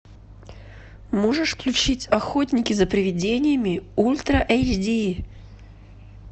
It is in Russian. можешь включить охотники за привидениями ультра эйч ди